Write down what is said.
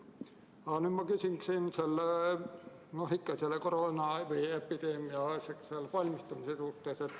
Aga nüüd ma küsin ikka epideemiaks valmistumise kohta.